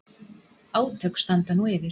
Átök standa nú yfir